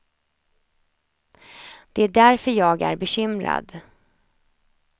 Det är därför jag är bekymrad.